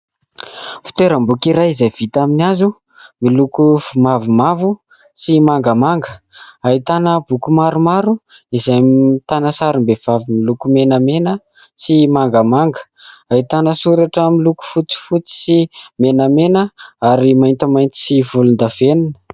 Fitoeram-boky iray izay vita aminy hazo miloko mavomavo sy mangamanga, ahitana boky maromaro izay ahitana sarim-behivavy miloko menamena sy mangamanga, ahitana soratra miloko fotsifotsy sy menamena ary maintimainty sy volondavenina.